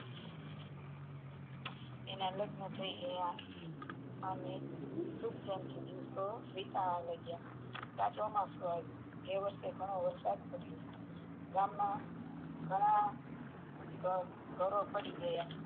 તેના લગ્ન થઈ ગયા અને દિવસો ઉપર દિવસો વીતવા મંડીયા ત્યાં ચોમાસુ આવ્યુ તે વર્ષે ઘણો વરસાદ પડ્યો ગામ માં ઘણા ઘરો પડી ગયા